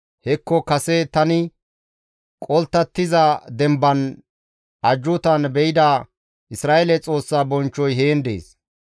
Hekko kase tani qolttattiza demban ajjuutan be7ida Isra7eele Xoossa bonchchoy heen dees.